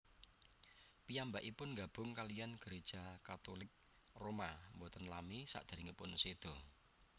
Piyambakipun nggabung kaliyan Gereja Katulik Roma boten lami saderengipun seda